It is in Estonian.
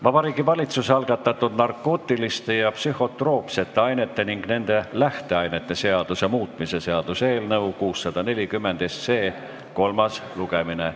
Vabariigi Valitsuse algatatud narkootiliste ja psühhotroopsete ainete ning nende lähteainete seaduse muutmise seaduse eelnõu 640 kolmas lugemine.